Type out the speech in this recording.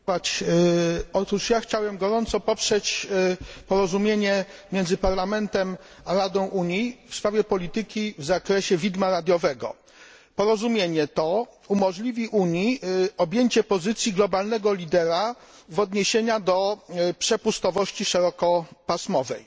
Panie Przewodniczący! Chciałbym gorąco poprzeć porozumienie między Parlamentem a Radą Unii w sprawie polityki w zakresie widma radiowego. Porozumienie to umożliwi Unii objęcie pozycji globalnego lidera w odniesieniu do przepustowości szerokopasmowej.